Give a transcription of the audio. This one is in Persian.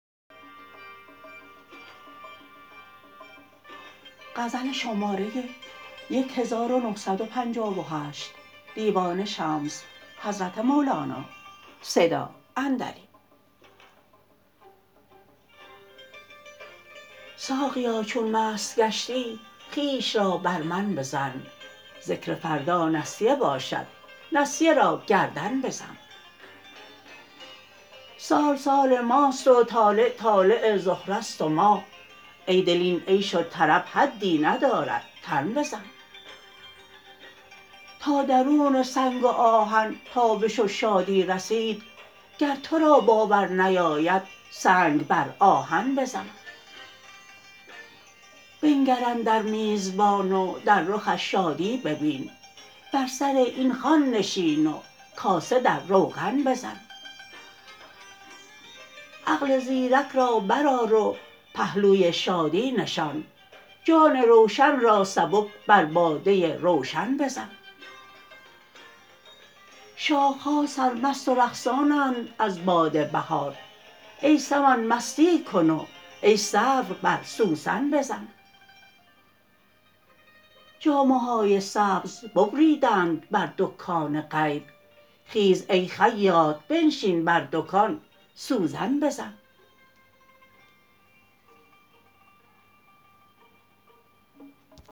ساقیا چون مست گشتی خویش را بر من بزن ذکر فردا نسیه باشد نسیه را گردن بزن سال سال ماست و طالع طالع زهره ست و ماه ای دل این عیش و طرب حدی ندارد تن بزن تا درون سنگ و آهن تابش و شادی رسید گر تو را باور نیاید سنگ بر آهن بزن بنگر اندر میزبان و در رخش شادی ببین بر سر این خوان نشین و کاسه در روغن بزن عقل زیرک را برآر و پهلوی شادی نشان جان روشن را سبک بر باده روشن بزن شاخه ها سرمست و رقصانند از باد بهار ای سمن مستی کن و ای سرو بر سوسن بزن جامه های سبز ببریدند بر دکان غیب خیز ای خیاط بنشین بر دکان سوزن بزن